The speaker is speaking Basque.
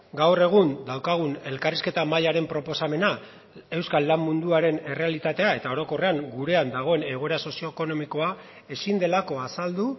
gaur egun daukagun elkarrizketa mahaiaren proposamena euskal lan munduaren errealitatea eta orokorrean gurean dagoen egoera sozioekonomikoa ezin delako azaldu